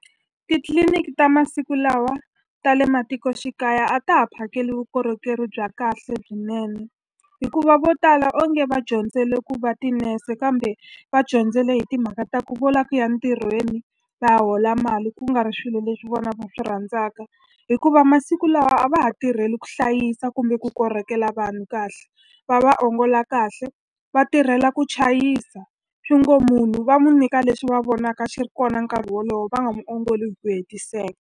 Titliliniki ta masiku lawa ta le matikoxikaya a ta ha phakeli vukorhokeri bya kahle lebyinene, hikuva vo tala onge va dyondzele ku va tinese kambe va dyondzile hi timhaka ta ku vula ku ya entirhweni va hola mali ku nga ri swilo leswi vona va swi rhandzaka. Hikuva masiku lawa a va ha tirheli ku hlayisa kumbe ku korhokela vanhu kahle, va va ongola kahle, va tirhela ku chayisa. Swi ngo munhu va n'wi nyika leswi va vonaka xi ri kona nkarhi wolowo, va nga muongoli hi ku hetiseka.